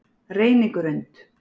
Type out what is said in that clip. Reynigrund